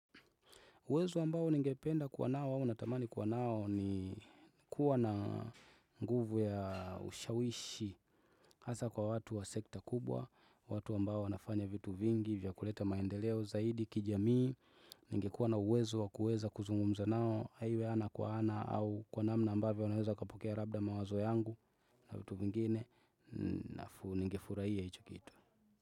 Uwezo ambao ningependa kuwa nao au natamani kuwa nao ni kuwa na nguvu ya ushawishi hasa kwa watu wa sekta kubwa, watu ambao wanafanya vitu vingi, vya kuleta maendeleo zaidi, kijamii ningekuwa na uwezo wa kuweza kuzungumza nao, haiwe ana kwa ana au kwa namna ambavyo naweza kapokea labda mawazo yangu na vitu vingine, ningefurahia hicho kitu.